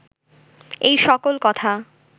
এই সকল কথা